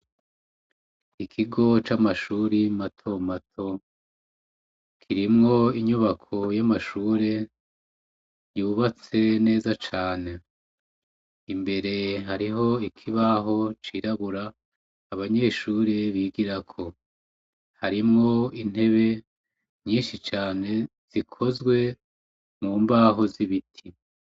Ikigo c' amashure matomato kirimw' inyubako y' amashure yubatse neza can' imbere harih' ikibaho cirabura abanyeshure bigirako, harinw' intebe nyinshi cane zikozwe mu mbaho z' ibiti.